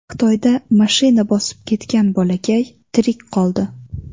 Xitoyda mashina bosib ketgan bolakay tirik qoldi .